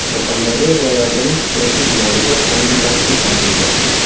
Surxondaryo viloyatining Sho‘rchi tumanida yangi masjid ochildi.